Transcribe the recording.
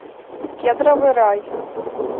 кедровый рай